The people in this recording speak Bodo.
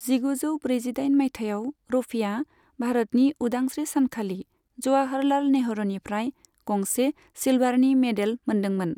जिगुजौ ब्रैजिदाइन माइथायाव रफीआ भारतनि उदांस्रि सानखालि जवाहरलाल नेहरूनिफ्राय गंसे सिलभारनि मेडेल मोनदोंमोन।